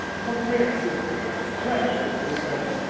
comprehensive, credible response.